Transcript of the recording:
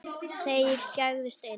Þeir gægðust inn.